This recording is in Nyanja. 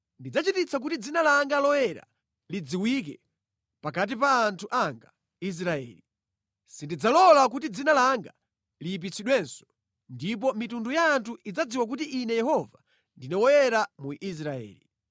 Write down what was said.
“Ndidzachititsa kuti dzina langa loyera lidziwike pakati pa anthu anga Israeli. Sindidzalola kuti dzina langa liyipitsidwenso, ndipo mitundu ya anthu idzadziwa kuti Ine Yehova ndine Woyera mu Israeli.